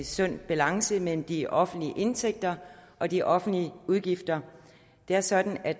sund balance mellem de offentlige indtægter og de offentlige udgifter det er sådan at